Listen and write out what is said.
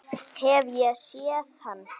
Hef ég séð hann?